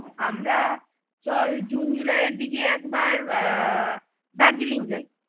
আমরা চল জুন-জুলাই এর দিকে এক বার আহ দার্জেলিং যাই